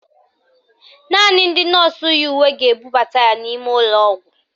Naanị ndị nọọsụ yi uwe ga-ebubata ya n'ime ụlọọgwụ